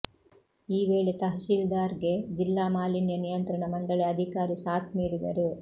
ಈ ವೇಳೆ ತಹಶೀಲ್ದಾರ್ಗೆ ಜಿಲ್ಲಾ ಮಾಲಿನ್ಯ ನಿಯಂತ್ರಣ ಮಂಡಳಿ ಅಧಿಕಾರಿ ಸಾಥ್ ನೀಡಿದರು